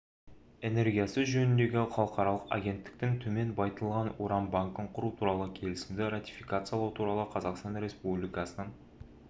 энергиясы жөніндегі халықаралық агенттіктің төмен байытылған уран банкін құру туралы келісімді ратификациялау туралы қазақстан республикасының